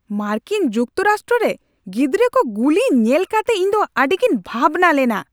ᱢᱟᱨᱠᱤᱱ ᱡᱩᱠᱛᱚᱨᱟᱥᱴᱚ ᱨᱮ ᱜᱤᱫᱽᱨᱟᱹ ᱠᱚ ᱜᱩᱞᱤ ᱧᱮᱞ ᱠᱟᱛᱮ ᱤᱧᱫᱚ ᱟᱹᱰᱤᱜᱤᱧ ᱵᱷᱟᱵᱽᱱᱟ ᱞᱮᱱᱟ ᱾